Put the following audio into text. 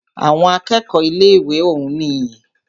Àwọn akẹ́kọ̀ọ́ ilé ìwé òún nìyí.